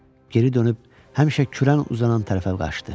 Geri dönüb həmişə kürən uzanan tərəfə qaçdı.